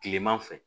Kileman fɛ